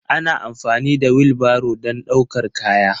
Ana amfani da wilbaro don ɗaukar kaya.